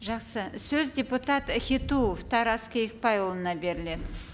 жақсы сөз депутат хитуов тарас киікбайұлына беріледі